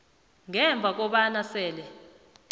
ngemva kobana sele